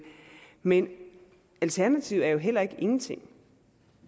men alternativet er jo heller ikke ingenting